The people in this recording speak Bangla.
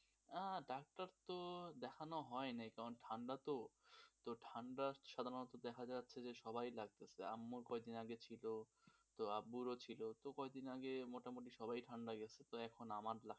আহ ডাক্তার তো দেখানো হয় নাই কারণ ঠাণ্ডা তো, ঠান্ডা তো সাধারণত দেখা যাচ্ছে যে সবারই লাগছে. আম্মুর কয়েকদিন আগে ছিল তো আব্বুরও ছিল, কয়েকদিন আগে মোটামুটি সবারই ঠাণ্ডা লেগেছিল, তো এখন আমার লেগেছে.